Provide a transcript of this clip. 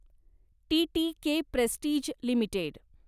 TTK Prestige limited